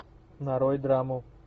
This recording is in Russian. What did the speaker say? нарой драму